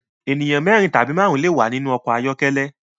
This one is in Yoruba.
Ènìyàn mérin tàbí márùn le wà nínú ọkọ̀ ayọ́kẹ́lẹ́